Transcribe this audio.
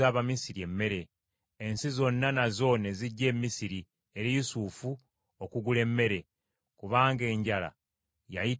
Ensi zonna nazo ne zijja e Misiri eri Yusufu okugula emmere; kubanga enjala yayitirira mu nsi zonna.